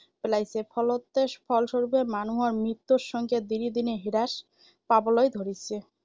পেলাইছে, ফলতে ফলস্বৰুপে মানুহৰ মৃত্যুৰ সংখ্যা দিনে দিনে হ্ৰাস পাবলৈ ধৰিছে।